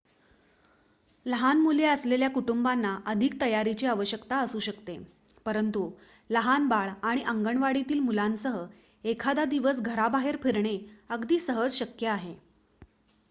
लहान मुले असलेल्या कुटुंबांना अधिक तयारीची आवश्यकता असू शकते परंतु लहान बाळ आणि अंगणवाडीतील मुलांसह एखादा दिवस घराबाहेर फिरणे अगदी सहज शक्य आहे